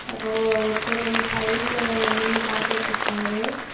யாரோ ஒருத்தர் வந்து சைடுல நின்னு பார்த்துட்டுருக்காரு.